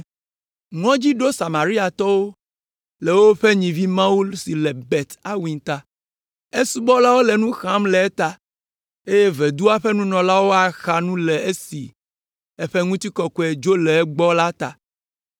Ŋɔdzi ɖo Samariatɔwo le woƒe nyivimawu si le Bet Aven ta. Esubɔlawo le nu xam le eta, eye vodua ƒe nunɔlawo axa nu le esi eƒe ŋutikɔkɔe dzo le egbɔ la ta.